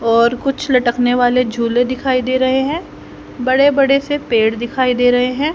और कुछ लटकने वाले झूले दिखाई दे रहे हैं बड़े बड़े से पेड़ दिखाई दे रहे हैं।